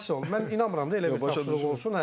Ay sağ ol, mən inanmıram da elə bir tapşırıq olsun, hə.